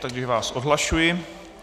Takže vás odhlašuji.